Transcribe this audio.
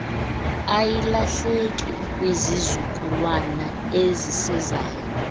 ayilahleki kwizizukulwana ezisezayo